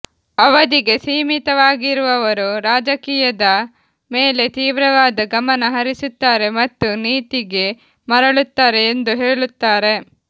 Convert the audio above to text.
ಅವಧಿಗೆ ಸೀಮಿತವಾಗಿರುವವರು ರಾಜಕೀಯದ ಮೇಲೆ ತೀವ್ರವಾದ ಗಮನ ಹರಿಸುತ್ತಾರೆ ಮತ್ತು ನೀತಿಗೆ ಮರಳುತ್ತಾರೆ ಎಂದು ಹೇಳುತ್ತಾರೆ